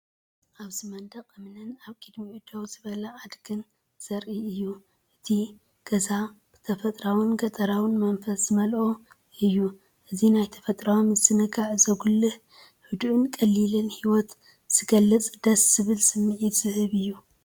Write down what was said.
ኣብዚ መንደቕ እምኒን ኣብ ቅድሚኡ ደው ዝበለ ኣድጊን ዘርኢ እዩ። እቲ ገዛ ብተፈጥሮኣውን ገጠራውን መንፈስ ዝተመልአ እዩ። እዚ ናይ ተፈጥሮኣዊ ምዝንጋዕ ዘጉልሕ ህዱእን ቀሊልን ህይወት ዝገልክፅ ደስ ዝብል ስምዒት ዝህብ እዩ።